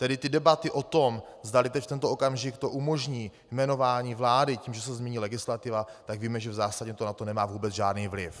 Tedy ty debaty o tom, zdali teď v tento okamžik to umožní jmenování vlády tím, že se změní legislativa, tak víme, že v zásadě to nemá na to vůbec žádný vliv.